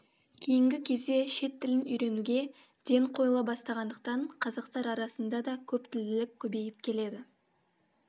кейінгі кезде шет тілін үйренуге ден қойыла бастағандықтан қазақтар арасында да көптілділік көбейіп келеді